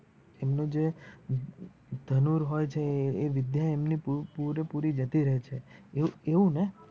એમનું જે ધનુષ હોય છે એ વિધ્ય એ એ પૂરેપૂરી જતી રે છે એવુ એવુ ને.